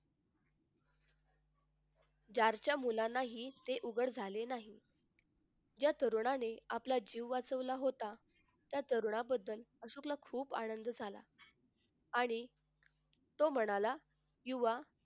चारच्या मुलांनाही ते उघड झाले नाही ज्या तरुणाने आपला जीव वाचवला होता त्या तरुणांबद्दल अशोकला खूप आनंद झाला आणि तो म्हणाला युवा